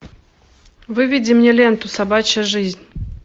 выведи мне ленту собачья жизнь